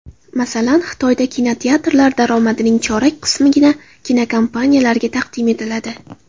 Masalan, Xitoyda kinoteatrlar daromadining chorak qismigina kinokompaniyalarga taqdim etiladi.